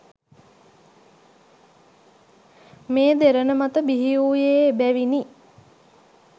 මේ දෙරණ මත බිහි වූයේ එබැවිනි.